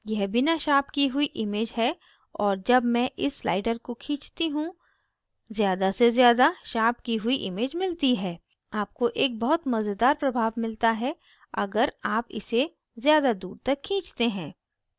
यह बिना शार्प की हुई image है और जब मैं इस slider को खींचती you ज़्यादा से ज़्यादा शार्प की हुई image मिलती है आपको एक बहुत मज़ेदार प्रभाव मिलता है अगर आप इसे ज़्यादा दूर तक खींचते हैं